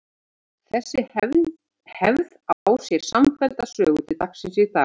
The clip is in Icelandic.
Þessi hefð á sér samfellda sögu til dagsins í dag.